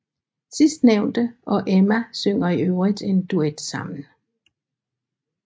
Sidstnævnte og Emma synger i øvrigt en duet sammen